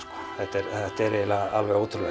þetta er eiginlega alveg ótrúlegt